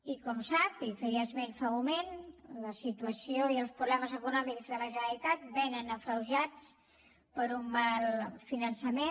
i com sap i hi feia esment fa un moment la situació i els problemes econòmics de la generalitat vénen agreujats per un mal finançament